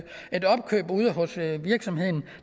foretage et virksomheden